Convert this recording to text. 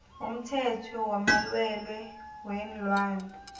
umthetho wamalwelwe weenlwana